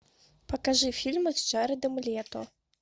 покажи фильмы с джаредом лето